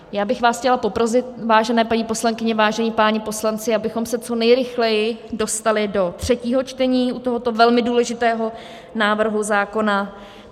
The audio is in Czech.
Já bych vás chtěla poprosit, vážené paní poslankyně, vážení páni poslanci, abychom se co nejrychleji dostali do třetího čtení u tohoto velmi důležitého návrhu zákona.